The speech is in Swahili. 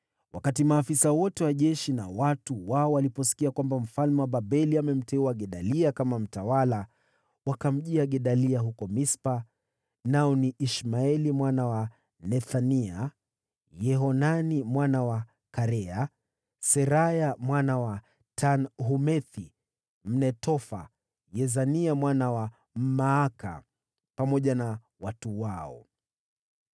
Maafisa wote wa jeshi na watu wao waliposikia kwamba mfalme wa Babeli amemteua Gedalia kuwa mtawala, wakamjia Gedalia huko Mispa. Hawa walikuwa Ishmaeli mwana wa Nethania, Yohanani mwana wa Karea, Seraya mwana wa Tanhumethi Mnetofathi, na Yezania mwana wa Mmaaka, pamoja na watu wao.